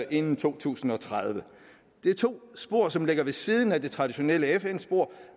inden to tusind og tredive det er to spor som ligger ved siden af det traditionelle fn spor